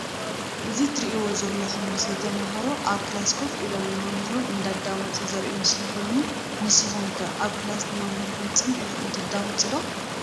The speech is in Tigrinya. እዚ ትርኢዎ ዘለኩም ምስሊ ተማሃሮ ኣብ ክላስ ኮፍ ኢሎም ንመምህሮም እንዳዳመፁ ዘርኢ ምስሊ ኮይኑ ንስኩም ከ ኣብ ክላስ ንመምህርኩም ፅን ኢልኩም ትሰምዑ ዶ?